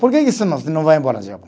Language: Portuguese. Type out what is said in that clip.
Por que que isso não, você não vai embora